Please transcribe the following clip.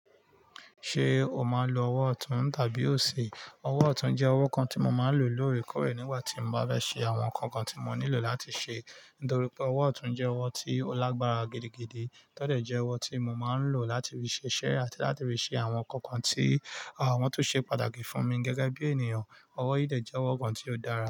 Ṣé o máa ń lo ọwọ́ ọ̀tún tàbí òsì? Ọwọ́ ọ̀tún jẹ́ ọwọ́ kan tí mo máa ń lò lóòrèkórè nígbà tí n bá fẹ́ ṣe àwọn nǹkan kan tí mò nílò láti ṣe. Nítorí pé ọwọ́ ọ̀tún jẹ́ ọwọ́ tí ó lágbára gidigidi, tọ́dẹ̀ jẹ́ ọwọ́ tí mo máa ń lò láti fi ṣiṣẹ́ àti láti fi ṣe àwọn nǹkan kan tí wọ́n tún ṣe pàtàkì fún mi gẹ́gẹ́ bí ènìyàn. Ọwọ́ yìí dẹ́ je ọwọ́ kan tí ó dára.